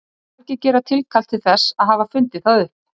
margir gera tilkall til þess að hafa fundið það upp